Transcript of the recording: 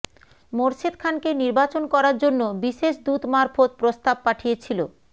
মোর্শেদ খানকে নির্বাচন করার জন্য বিশেষ দূত মারফত প্রস্তাব পাঠিয়েছিল